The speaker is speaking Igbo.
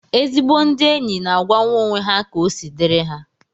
Ezigbo ndị enyi na-agwanwu onwe ha ka osi diri ha